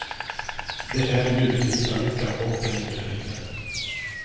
Det är i nuet vi hittar lyckan och den inre friden.